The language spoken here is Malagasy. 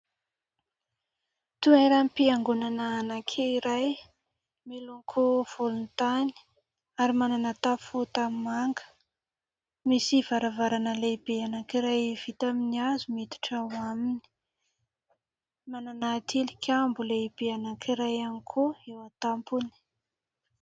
Toeram-piangonana anankiray miloko volontany ary manana tafo tanimanga, misy varavarana lehibe anankiray vita amin'ny hazo miditra, manana tilikambo lehibe anankiray ihany koa eo an-tampony.